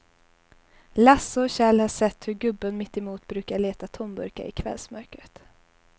Lasse och Kjell har sett hur gubben mittemot brukar leta tomburkar i kvällsmörkret.